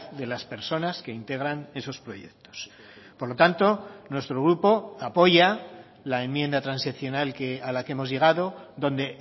de las personas que integran esos proyectos por lo tanto nuestro grupo apoya la enmienda transaccional a la que hemos llegado donde